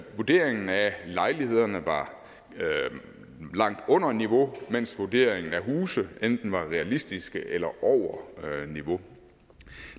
vurderingen af lejlighederne var langt under niveau mens vurderingen af huse enten var realistiske eller over niveau